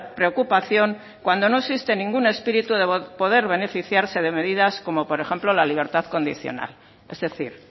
preocupación cuando no existe ningún espíritu de poder beneficiarse de medidas como por ejemplo la libertad condicional es decir